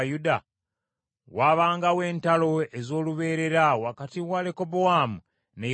Waabangawo entalo ez’olubeerera wakati wa Lekobowaamu ne Yerobowaamu.